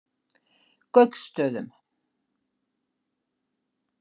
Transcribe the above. Gauksstöðum